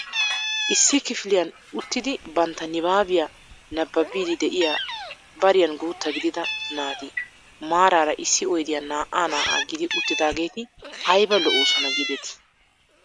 Issi kifiliyaan uttidi bantta nibaabiyaa nababiidi de'iyaa bariyaan guutta gidida naati maarara issi oydiyaan naa"a naa"a gidi uttidaageti ayba lo"oosona giidetii!